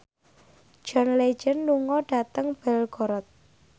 John Legend lunga dhateng Belgorod